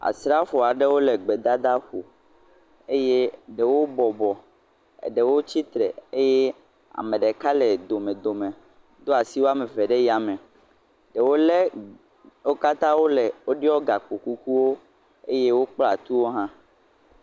Asrafo aɖewo le gbedadaƒo eye ɖewo bɔbɔ, eɖewo tsitre eye ame ɖeka le domedome do asi wɔme eve ɖe yame. Ɖewo le, wo katã wo le woɖɔ gakpokukuwo eye wokpla tu hã.